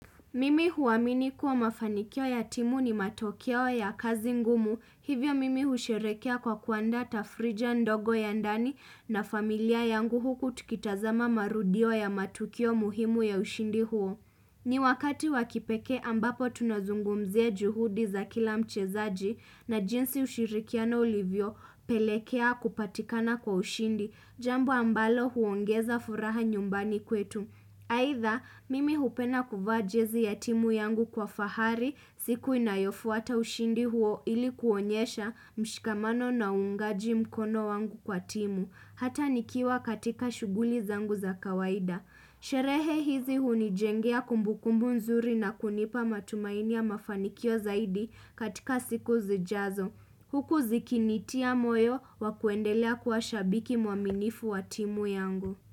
Mimi huamini kuwa mafanikio ya timu ni matokeop ya kazi ngumu hivyo mimi husherekea kwa kuandaa tafrija ndogo ya ndani na familia yangu huku tikitazama marudio ya matukio muhimu ya ushindi huo. Mmhn ni wakati wakipekee ambapo tunazungumzia juhudi za kila mchezaji na jinsi ushirikiano ulivyo pelekea kupatikana kwa ushindi jambo ambalo huongeza furaha nyumbani kwetu. Aitha, mimi hupena kuvaa jezi ya timu yangu kwa fahari, siku inayofuata ushindi huo ilikuonyesha mshikamano na ungaji mkono wangu kwa timu, hata nikiwa katika shuguli zangu za kawaida. Hhch Sherehe hizi hunijengea kumbukumbu nzuri na kunipa matumainia ya mafanikio zaidi katika siku zijazo. Huku zikinitia moyo wakuendelea kuwa shabiki muaminifu wa timu yangu.